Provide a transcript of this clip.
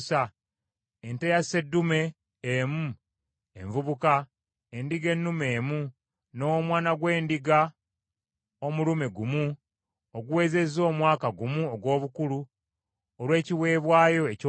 ente ya sseddume emu envubuka, endiga ennume emu, n’omwana gw’endiga omulume gumu oguwezezza omwaka gumu ogw’obukulu, olw’ekiweebwayo ekyokebwa;